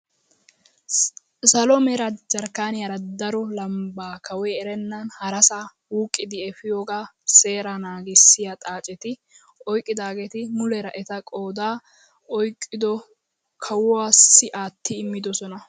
Salo mera jaarkkaniyaara daro lambbaa kawoy erennan harasaa wuuqqidi epiyoogaa seeraa naggisiyaa xaacetti oyqqidaageti muleera eta qoodaa oyqqido kawuwaassi aatti immidosona.